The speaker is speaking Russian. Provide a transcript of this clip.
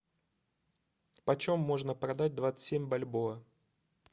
по чем можно продать двадцать семь бальбоа